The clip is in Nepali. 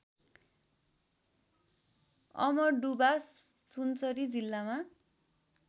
अमडुबा सुनसरी जिल्लामा